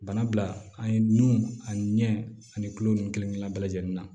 Bana bila an ye nun a ɲɛ ani kulo nunnu kelen kelen bɛɛ lajɛlen na